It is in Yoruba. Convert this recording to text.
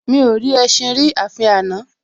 Mi ò rí ẹṣin rí àfi àná